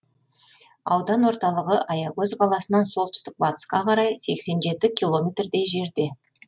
аудан орталығы аягөз қаласынан солтүстік батысқа қарай сексен жеті километрдей жерде